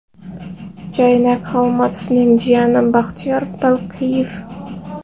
Jaynak Xolmatovning jiyani Baxtiyor Balqiyev.